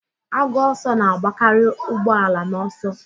Agụ ọsọ na-agbakarị ụgbọ ala n'ọsọ